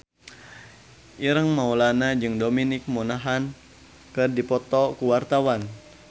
Ireng Maulana jeung Dominic Monaghan keur dipoto ku wartawan